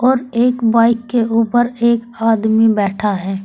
और एक बाइक के ऊपर एक आदमी बैठा है।